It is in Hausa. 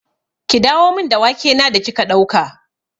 Ki dawo min da wake na da kika ɗauka!